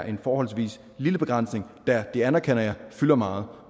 en forholdsvis lille begrænsning der og det anerkender jeg fylder meget